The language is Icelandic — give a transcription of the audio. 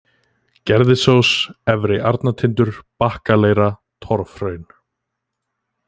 Gerðisós, Efri-Arnatindur, Bakkaleira, Torfhraun